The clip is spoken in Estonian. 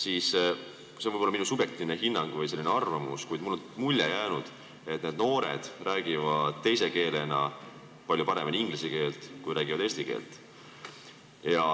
See on võib-olla minu subjektiivne hinnang või arvamus, kuid mulle on jäänud mulje, et need noored räägivad teise keelena palju paremini inglise keelt kui eesti keelt.